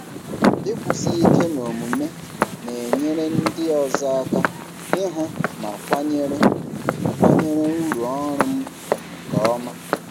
Ịkwụsi ike n'omume na-enyere ndị ọzọ aka ịhụ ma kwanyere kwanyere uru ọrụ m ùgwù nke ọma.